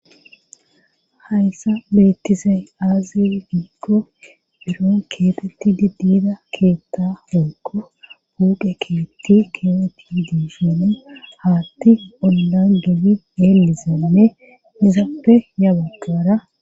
Hayssa bettizay aazi giikko biro keetetti diddiida keetta hokko buuqe keetti keeteti diishine haatti ollangeli elizanne izappe yabagaara.